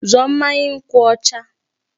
Zụọ mmanya nkwụ ọcha!